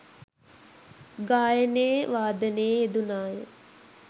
ගායනයේ වාදනයේ යෙදුණාය.